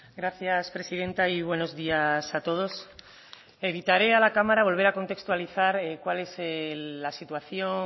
gracias presidenta y buenos días a todos evitaré a la cámara volver a contextualizar cuál es la situación